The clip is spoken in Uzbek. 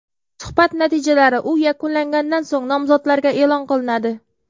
Suhbat natijalari u yakunlangandan so‘ng nomzodlarga e’lon qilinadi.